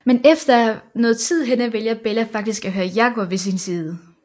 Men efter noget tid henne vælger Bella faktisk at have Jacob ved sin side